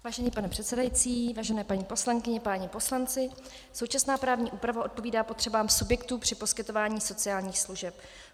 Vážený pane předsedající, vážené paní poslankyně, páni poslanci, současná právní úprava odpovídá potřebám subjektů při poskytování sociálních služeb.